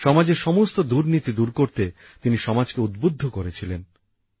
সমাজের সমস্ত দুর্নীতি দূর করতে তিনি সমাজকে উদ্বুদ্ধ করেছিলেন